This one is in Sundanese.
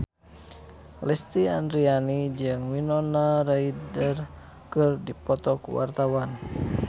Lesti Andryani jeung Winona Ryder keur dipoto ku wartawan